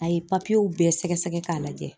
A ye bɛɛ sɛgɛsɛgɛ k'a lajɛ